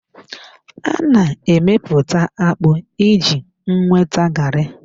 A na-emeputa akpu iji nweta garri.